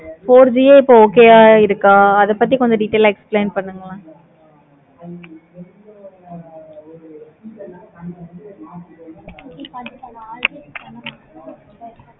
four G ஏ இப்போ okay வா இருக்க. அத கொஞ்சம் details ஆஹ் explain பண்ணுங்க. okay கண்டிப்பா நான் already சொன்ன மாதிரி தான்